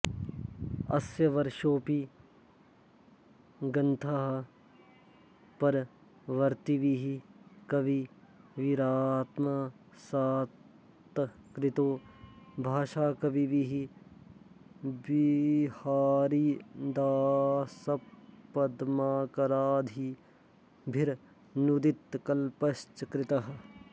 अस्य सर्वोऽपि गन्थः परवर्त्तिभिः कविभिरात्मसात्कृतो भाषाकविभिः विहारिदासपद्माकरादिभिरनूदितकल्पश्च कृतः